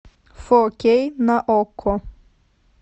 фо кей на окко